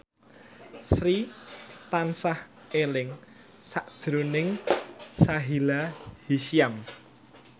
Sri tansah eling sakjroning Sahila Hisyam